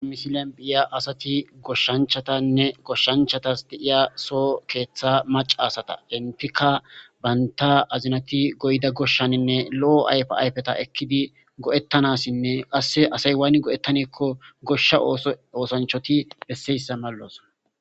amisilen phiya asati goshshanchatanne goshshanchatas deiya so keeththa maca asata hentika baynta azinati goyda goshshaninne lo7o ayfe ayfeta ekkidi go7ettanassinne qasse asay waani go7ettanikko goshsha s oosanchoti besseyssa mallos